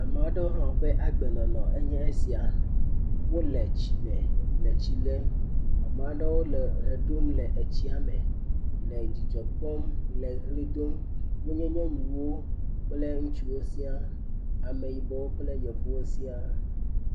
Ame aɖewo hã woƒe agbenɔnɔe nye esia. Wole tsime le tsi lem. AAmaa ɖewo le ʋe ɖum le etsia me, le dzidzɔ kpɔm le ʋli dom. Wonye nyɔnuwo kple ŋutsuwo siaa. Ameyibɔwo kple Yevuwo siaa.